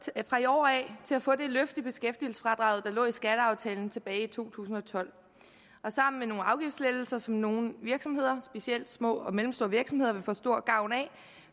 i år af til at få det løft i beskæftigelsesfradraget der lå i skatteaftalen tilbage i to tusind og tolv og sammen med nogle afgiftslettelser som nogle virksomheder specielt små og mellemstore virksomheder vil få stor gavn af